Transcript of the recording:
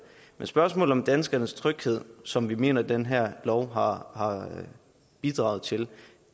men spørgsmålet om danskernes tryghed som vi mener at den her lov har bidraget til